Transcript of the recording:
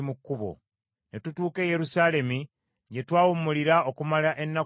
Ne tutuuka e Yerusaalemi gye twawumulira okumala ennaku ssatu.